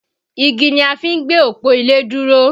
Igi ni a fi ń gbé òpó ilé dúró